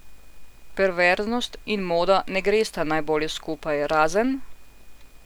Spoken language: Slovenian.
Perverznost in moda ne gresta najbolje skupaj, razen ...